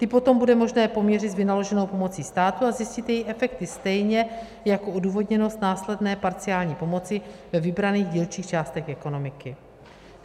Ty potom bude možné poměřit s vynaloženou pomocí státu a zjistit její efekty stejně jako odůvodněnost následné parciální pomoci ve vybraných dílčích částech ekonomiky.